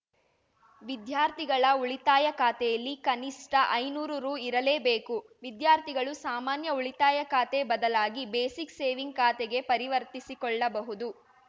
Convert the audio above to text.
ವಿದ್ಯಾರ್ಥಿಗಳ ಉಳಿತಾಯ ಖಾತೆಯಲ್ಲಿ ಕನಿಷ್ಠ ಐನೂರು ರು ಇರಲೇಬೇಕು ವಿದ್ಯಾರ್ಥಿಗಳು ಸಾಮಾನ್ಯ ಉಳಿತಾಯ ಖಾತೆ ಬದಲಾಗಿ ಬೇಸಿಕ್‌ ಸೇವಿಂಗ್‌ ಖಾತೆಗೆ ಪರಿವರ್ತಿಸಿಕೊಳ್ಳಬಹುದು